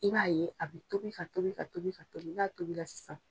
I b'a ye a bɛ tobi ka tobi ka tobi ka tobi n'a tobira sisan.